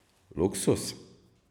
Luksuz?